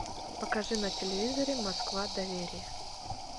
покажи на телевизоре москва доверие